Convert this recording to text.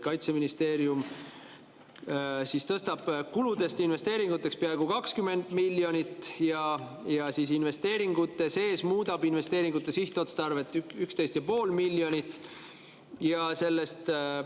Kaitseministeerium tõstab kuludest investeeringuteks peaaegu 20 miljonit ja investeeringute sees muudab investeeringute sihtotstarvet 11,5 miljoni ulatuses.